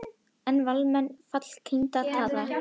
Eru Valsmenn fallkandídatar?